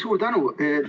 Suur tänu!